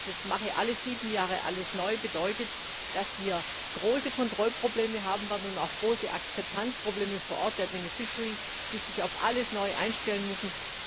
Dieses Mache alle sieben Jahre alles neu bedeutet nämlich, dass wir große Kontrollprobleme haben werden und auch große Akzeptanzprobleme vor Ort der die sich auf alles neu einstellen müssen.